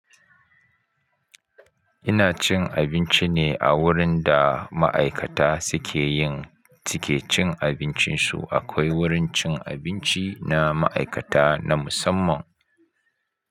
Ina cin abinci ne a wurin da ma'aikata suke yin, suke cin abincinsu. Akwai wurin cin abinci na ma'aikata na musamman.